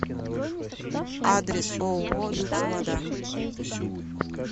адрес ооо люкс вода